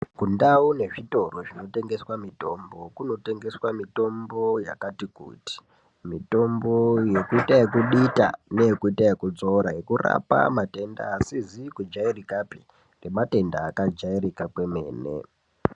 Ku ndau ne zvitoro zvino tengeswa mitombo yakati kuti mitombo yekuita yeku dita ne yekuita yeku dzora yeku rapa matenda asizi ku jairikapi ne matenda aka jairika kwemene.